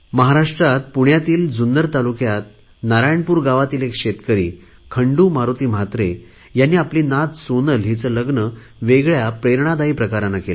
महाराष्ट्रातील पुण्यातील जुन्नर तालुक्यात नारायणपूर गावातील एक शेतकरी खंडू मारुती महात्रे ह्यांनी आपली नात सोनलचे लग्न वेगळ्या प्रेरणादायी प्रकाराने केले